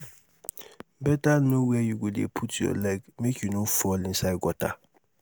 beta know where you dey put your leg make you no fall inside gutter